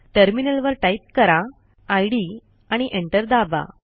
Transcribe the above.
टर्मिनलवर टाईप करा इद आणि एंटर दाबा